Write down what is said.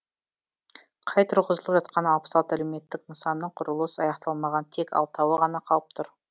қай тұрғызылып жатқан алпыс алты әлеуметтік нысанның құрылыс аяқталмаған тек алтауы ғана қалып тұр